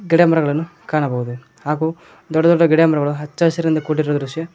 ಗಿಡಮರಗಳನ್ನು ಕಾಣಬಹುದು ಹಾಗು ದೊಡ್ಡ ದೊಡ್ಡ ಗಿಡಮರಗಳು ಹಚ್ಚಹಸಿರಿಂದ ಇಂದ ಕೂಡಿರುವ ದೃಶ್ಯ --